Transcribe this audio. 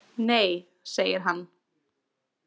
Nei, segir hann.